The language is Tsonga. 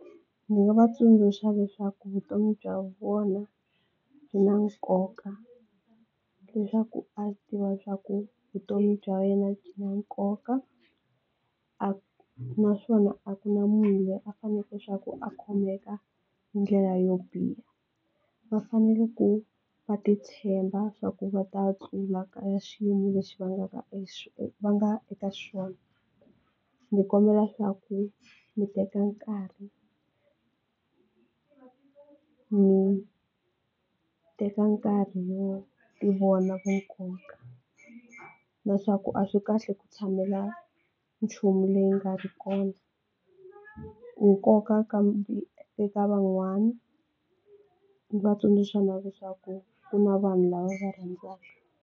Ndzi nga va tsundzuxa leswaku vutomi bya vona byi na nkoka leswaku a tiva swa ku vutomi bya yena byi na nkoka naswona a ku na munhu loyi a faneleke swa ku a khomeka hi ndlela yo biha va fanele ku va titshemba swa ku va ta hlula ka xiyimo lexi va nga ka va nga eka xona. Ndzi kombela swa ku mi teka nkarhi, mi teka nkarhi wo tivona vu nkoka na swa ku a swi kahle ku tshamela nchumu leyi nga ri kona, nkoka eka van'wani va tsundzuxana leswaku ku na vanhu lava va rhandzaka.